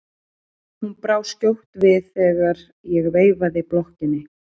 Hún brá skjótt við þegar ég veifaði blokkinni.